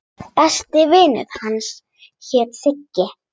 Besti vinur hans hét Siggi.